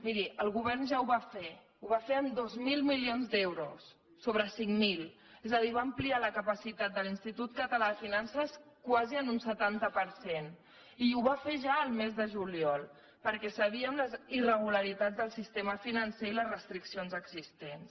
miri el govern ja ho va fer ho va fer amb dos mil milions d’euros sobre cinc mil és a dir va ampliar la capacitat de l’institut català de finances quasi en un setanta per cent i ho va fer ja el mes de juliol perquè sabíem les irregularitats del sistema financer i les restriccions existents